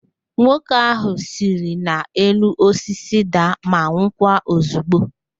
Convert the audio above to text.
Nwoke ahụ siri n'elu osisi daa ma nwụkwa ozigbo